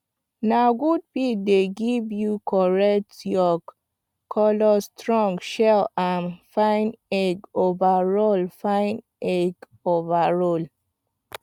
na good feed dey give you correct yolk colour strong shell and fine egg overall fine egg overall